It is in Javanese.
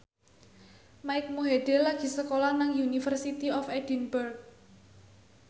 Mike Mohede lagi sekolah nang University of Edinburgh